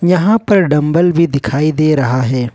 यहां पर डंबल भी दिखाई दे रहा है।